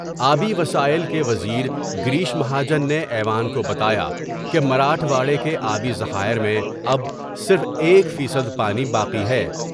آبی وسائل کے وزیر گریش مہا جن نے ایوان کو بتا یا کہ مراٹھواڑے کے آبی ذخائر میں اب صرف ایک فیصد پانی باقی ہے ۔